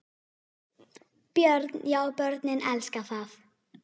Björn: Já börnin elska það?